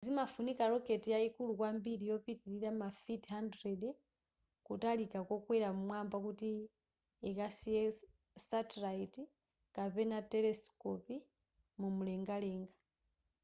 zimafunika rocket yayikulu kwambiri yopitilira mafiti 100 kutalika kokwera m'mwamba kuti ikasiye satellite kapena telesikopi mumlengalenga